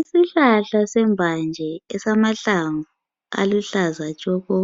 Isihlahla sembanje esamahlamvu aluhlaza tshoko